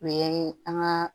O ye an ka